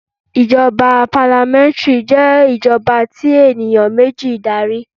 Ìjọba parliamentary jé ìjọba tí ènìyàn méjì n darí